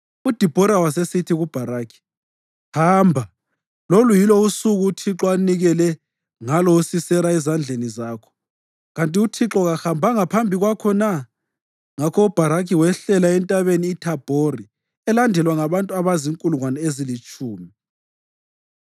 UDibhora wasesithi kuBharakhi, “Hamba! Lolu yilo usuku uThixo anikele ngalo uSisera ezandleni zakho. Kanti uThixo kahambanga phambi kwakho na?” Ngakho uBharakhi wehlela eNtabeni iThabhori elandelwa ngabantu abazinkulungwane ezilitshumi.